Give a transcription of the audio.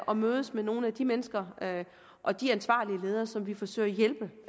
og mødes med nogle af de mennesker og de ansvarlige ledere som vi forsøger at hjælpe